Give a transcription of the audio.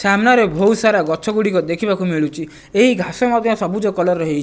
ସାମ୍ନାରେ ଭୋଉତ୍ ସାରା ଗଛଗୁଡ଼ିକ ମଧ୍ୟ ଦେଖିବାକୁ ମିଳୁଚି। ଏହି ଘାସ ମଧ୍ୟ ସବୁଜ କଲର୍ ର ହେଇଚି।